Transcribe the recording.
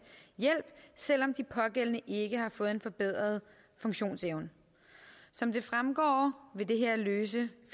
hjælp selv om de pågældende ikke har fået en forbedret funktionsevne som det fremgår vil det her løse